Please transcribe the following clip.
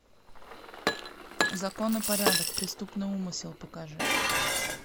закон и порядок преступный умысел покажи